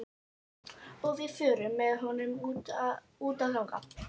Og við förum með honum út að ganga.